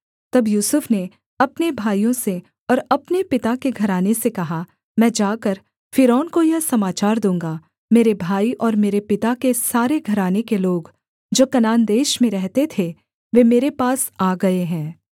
तब यूसुफ ने अपने भाइयों से और अपने पिता के घराने से कहा मैं जाकर फ़िरौन को यह समाचार दूँगा मेरे भाई और मेरे पिता के सारे घराने के लोग जो कनान देश में रहते थे वे मेरे पास आ गए हैं